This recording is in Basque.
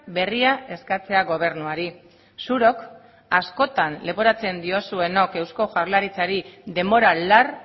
berria eskatzea gobernuari zurok askotan leporatzen diozuenok eusko jaurlaritzari denbora lar